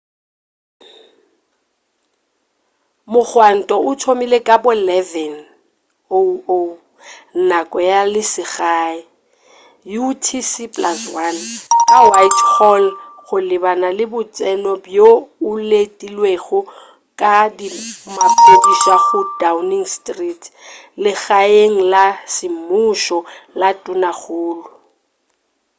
mogwanto o thomile ka bo 11:00 nako ya selegae utc+1 ka whitehall go lebana le botseno bjo o letilwego ke maphodisa go downing street legaeng la semmušo la tonakgolo